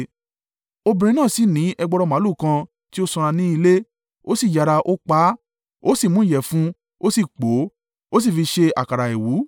Obìnrin náà sì ni ẹgbọrọ màlúù kan ti ó sanra ni ilé, ó sì yára, ó pa á, ó sì mú ìyẹ̀fun, ó sì pò ó, ó sì fi ṣe àkàrà àìwú.